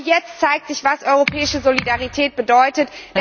Genau jetzt zeigt sich, was europäische Solidarität bedeutet.